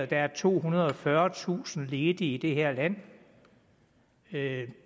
der er tohundrede og fyrretusind ledige i det her land det